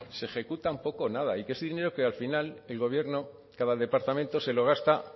se ejecutan poco o nada y que ese dinero al final el gobierno cada departamento se lo gasta